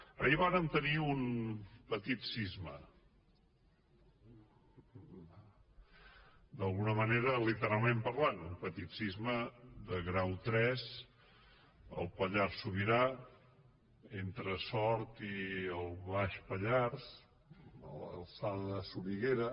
ahir vàrem tenir un petit sisme d’alguna manera literalment parlant un petit sisme de grau tres al pallars sobirà entre sort i el baix pallars a l’alçada de soriguera